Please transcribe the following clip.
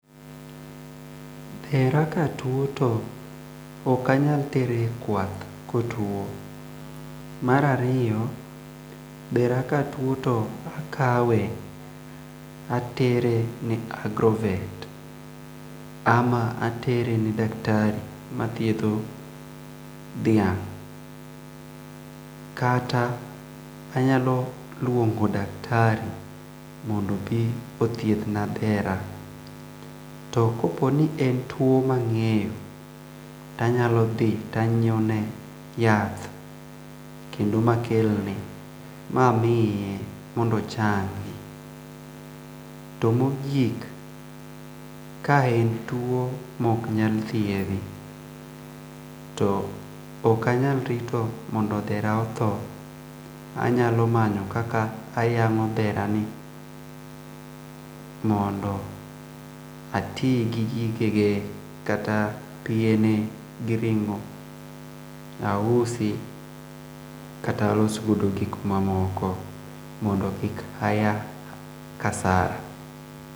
Dhera katuo to ok anyal tere ekwath ka otuo. Mar ariyo, dhera katuo to akawe atere ne agrovet ama atere ne daktari mathiedho dhia g' kata anyalo luongo daktari ,mondo obi othiedhna dhera. To kopo ni en tuo mang'eyo to anyalo dhi to anyiewo ne yath mamiye mondo ochangi. To mogik, ka en tuo maok nyal thiedhi to ok anyal rito mondo dhera otho, anyalo amanyo kaka ayang'o dherani mondo ati gi gigegi kaka piene, gi ring'o, ausi kata alos godo gik moko mondo kik aya kasara.